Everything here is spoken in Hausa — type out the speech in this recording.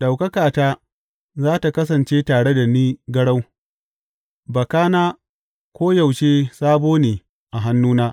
Ɗaukakata za tă kasance tare da ni garau, bakana koyaushe sabo ne a hannuna.’